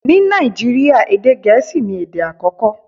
Ní Nàìjíríà, èdè gẹ̀ẹ́sì ni èdè àkọ́kọ́.